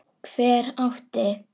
Hver átti?